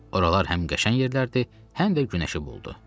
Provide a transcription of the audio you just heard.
Oralar həm qəşəng yerlərdi, həm də günəşi boldu.